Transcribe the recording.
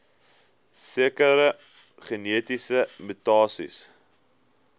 sekere genetiese mutasies